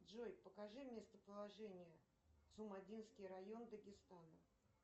джой покажи местоположение цумадинский район дагестан